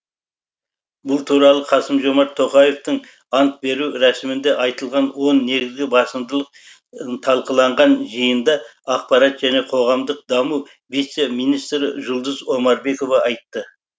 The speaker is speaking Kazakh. бұл туралы қасым жомарт тоқаевтың ант беру рәсімінде айтылған он негізгі басымдылық талқыланған жиында ақпарат және қоғамдық даму вице министрі жұлдыз омарбекова айтты